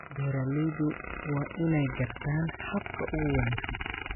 Beeraleydu waa inay gartaan habka ugu wanaagsan